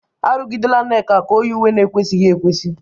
Arụgidela Nneka ka o yie uwe na-ekwesịghị ekwesị!